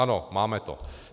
Ano, máme to.